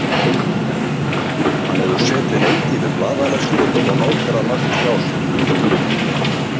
Hann hefur setið lengi við blaðalestur og nóterað margt hjá sér.